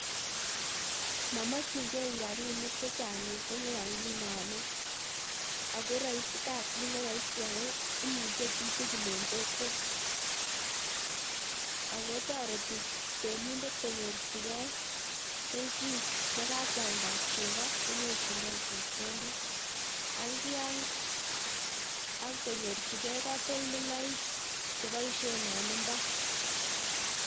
Momokyiin gee rabinik chechang missing yon kinome ako kasit neroisi ak imuche chitugul en kokwet ako toretii reminder konyorchigei kelchin yekakwaldaa chegoo, konyorchingei chepkondok ak konyorchigei katoltoloik chepoishien en imbaar